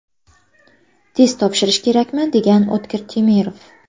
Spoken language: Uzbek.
Test topshirish kerakmi?, degan O‘tkir Temirov.